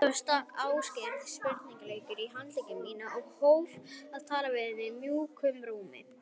Svo stakk Ásgeir sprautunál í handlegg minn og hóf að tala við mig mjúkum rómi.